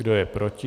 Kdo je proti?